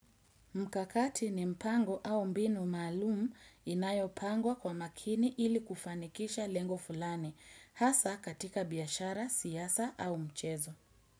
Mkakati ni mpango au mbinu maalum inayopangwa kwa makini ilikufanikisha lengo fulani, hasa katika biashara, siasa au mchezo.